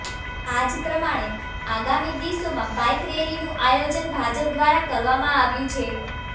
આજ પ્રમાણે આગામી દિવસમાં બાઈક રેલીનું આયોજન ભાજપ દ્વારા કરવામાં આવ્યું છે